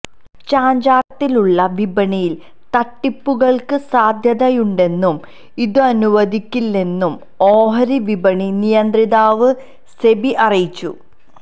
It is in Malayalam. ചാഞ്ചാട്ടത്തിലുള്ള വിപണിയില് തട്ടിപ്പുകള്ക്ക് സാധ്യതയുണ്ടെന്നും ഇതനുവദിക്കില്ലെന്നും ഓഹരി വിപണി നിയന്ത്രിതാവ് സെബി അറിയിച്ചു